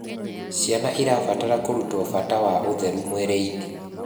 Ciana irabatara kurutwo bata wa ũtheru mwĩrĩ-ini